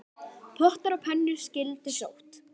Pottar og pönnur skyldu sótt.